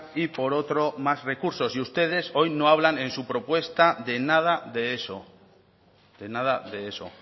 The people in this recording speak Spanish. y por otro más recursos y ustedes hoy no hablan en su propuesta de nada de eso de nada de eso